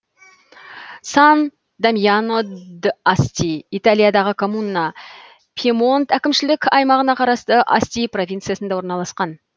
сан дамьяно д асти италиядағы коммуна пьемонт әкімшілік аймағына қарасты асти провинциясында орналасқан